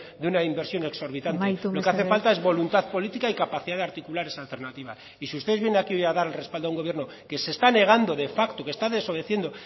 de una inversión exorbitante amaitu mesedez lo que hace falta es voluntad política y capacidad de articular esa alternativa y si ustedes vienen hoy aquí hoy a dar el respaldo a un gobierno que se está negando de facto y que está desobedeciendo